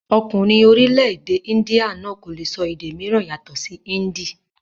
Ọkùnrin orílẹ̀-èdè índíà náà kò le sọ èdè mìíràn yàtọ̀ sí índì.